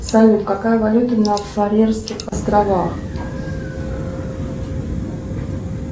салют какая валюта на фарерских островах